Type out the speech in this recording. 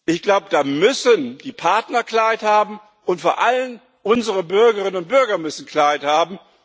Ich glaube, da müssen die Partner Klarheit haben, und vor allem unsere Bürgerinnen und Bürger müssen Klarheit haben.